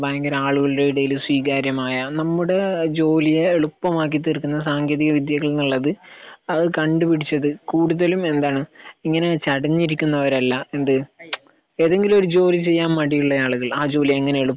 ഭയങ്കര ആളുകളുടെ ഇടയിൽ സ്വീകാര്യമായ നമ്മുടെ ജോലിയെ എളുപ്പമാക്കി തീർക്കുന്ന സാങ്കേന്തിക വിദ്യകൾ എന്നുള്ളത് അത് കണ്ട് പിടിച്ചത് കൂടുതലും എന്താണ്? ഇങ്ങനെ ചടഞ്ഞിരിക്കുന്നവരല്ല എന്ത്? ഏതെങ്കിലും ഒരു ജോലി ചെയ്യാൻ മടിയുള്ള ആളുകൾ ആഹ് ജോലി എങ്ങനെ